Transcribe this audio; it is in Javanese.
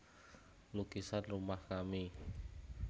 Lukisan Rumah Kami